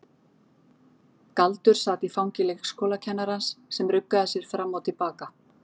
Galdur sat í fangi leikskólakennarans sem ruggaði sér fram og til baka.